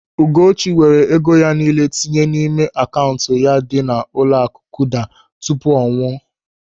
Ugochi weere ego ya nille tinye n'ime akaụntụ ya dị n'ụlọaku Kuda tupu ọ nwụọ.